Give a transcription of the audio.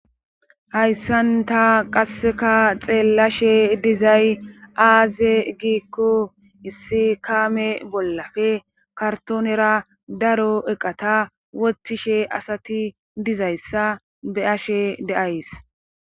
Hayssanta qasseka xeellashe dizay aaze giikko issi kaame bollafe kartoonera daro eqata wotishe asati dizayssa be ashe deays.